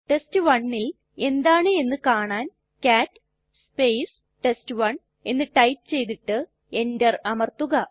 test1ൽ എന്താണ് എന്ന് കാണാൻ കാട്ട് ടെസ്റ്റ്1 എന്ന് ടൈപ്പ് ചെയ്തിട്ട് enter അമർത്തുക